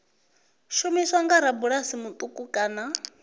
shumiswa nga rabulasi muṱuku kana